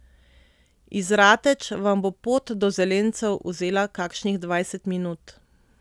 Iz Rateč vam bo pot do Zelencev vzela kakšnih dvajset minut.